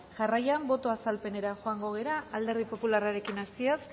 jarraian boto azalpenera joango gara alderdi popularrarekin hasiz